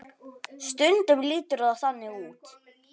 Stundum lítur það þannig út.